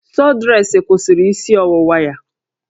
Sọdresị kwụsịrị isi ọwụwa ya